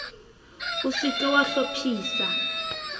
o se ke wa hlophisa